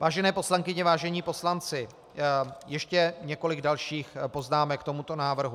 Vážené poslankyně, vážení poslanci, ještě několik dalších poznámek k tomuto návrhu.